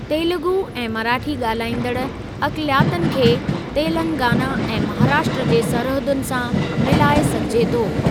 तेलुगू ऐं मराठी ॻाल्हाईंदड़ अक़लियतनि खे तेलंगाना ऐं महाराष्ट्र जे सरहदुनि सां मिलाए सघिजे थो।